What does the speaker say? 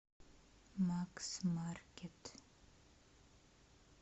максмаркет